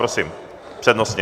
Prosím, přednostně.